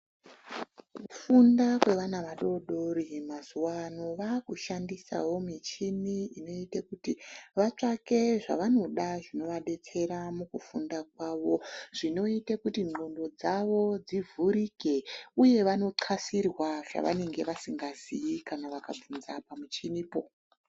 Kufunda kwevana vadodori mazuvano, vakushandisawo michini inoite kuti vatsvake zvavanoda zvinovadetsera mukufunda kwavo zvinoite kuti ndxondo dzavo dzivhurike uye vanoqasirwa zvavanenge vasingaziyi kana vakabvunza pamichinipo.